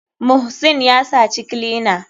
Muhsin yasaci clina.